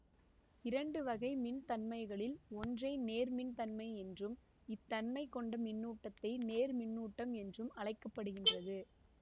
இரண்டு வகை மின் தன்மைகளில் ஒன்றை நேர்மின் தன்மை என்றும் இத்தன்மை கொண்ட மின்னூட்டத்தை நேர்மின்னூட்டம்ம் என்றும் அழைக்க படுகின்றது